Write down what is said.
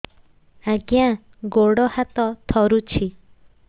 ଆଜ୍ଞା ଗୋଡ଼ ହାତ ଥରୁଛି